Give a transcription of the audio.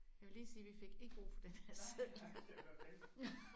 Jeg vil lige sige vi fik ikke brug for den her seddel